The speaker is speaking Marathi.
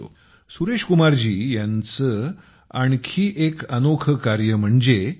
सुरेशकुमारजी आणखी एक अनोखे कार्य देखील करतात